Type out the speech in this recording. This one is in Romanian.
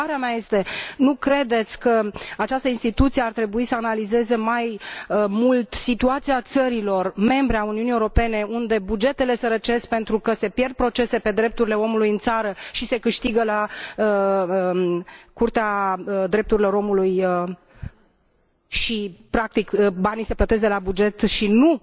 Întrebarea mea este nu credeți că această instituție ar trebui să analizeze mai mult situația țărilor membre ale Uniunii Europene unde bugetele sărăcesc pentru că se pierd procese pe drepturile omului în țară și se câștigă la Curtea Drepturilor Omului și, practic, banii se plătesc de la buget și nu